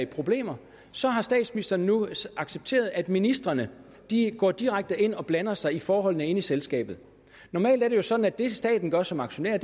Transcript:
problemer så har statsministeren nu accepteret at ministrene går direkte ind og blander sig i forholdene inde i selskabet normalt er det jo sådan at det staten gør som aktionær